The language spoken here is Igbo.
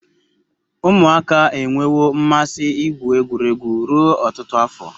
Umuaka enwewo mmasi igwu egwuregwu ruo otutu afo